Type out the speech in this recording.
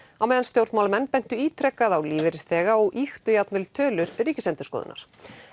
á meðan stjórnmálamenn bentu ítrekað á lífeyrisþega og ýktu jafnvel tölur Ríkisendurskoðunar